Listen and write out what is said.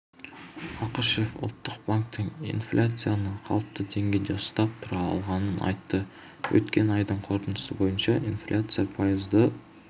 ақышев ұлттық банкттің инфляцияны қалыпты деңгейде ұстап тұра алғанын айтты өткен айдың қорытындысы бойынша инфляция пайызды